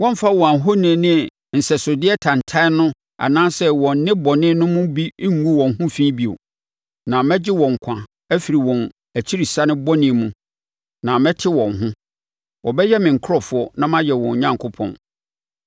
Wɔremfa wɔn ahoni ne nsɛsodeɛ tantane no anaasɛ wɔn nnebɔne no mu bi ngu wɔn ho fi bio, na mɛgye wɔn nkwa afiri wɔn akyirisane bɔne mu na mɛte wɔn ho. Wɔbɛyɛ me nkurɔfoɔ na mayɛ wɔn Onyankopɔn.